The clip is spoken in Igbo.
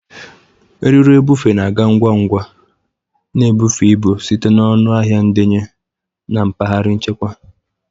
Eriri ebufe na-aga ngwa ngwa, na-ebufe ibu site na ọnụ ahịa ndenye na mpaghara nchekwa.